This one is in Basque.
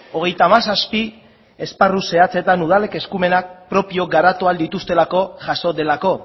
hogeita hamazazpi esparru zehatzetan udalek eskumenak propio garatu ahal dituztelako jaso delako